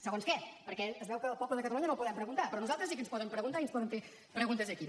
segons què perquè es veu que al poble de catalunya no li podem preguntar però a nosaltres sí que ens poden preguntar i ens poden fer preguntes aquí